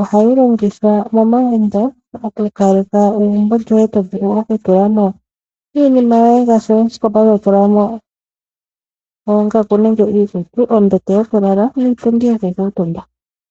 Ohayi longithwa momagumbo okukaleka egumbo lyoye tovulu okutula mo iinima yoye ngaashi, osikopa totula mo oongaku nenge iikutu, ombete yokulala niipundi yokukuutumba.